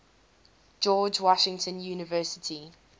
george washington university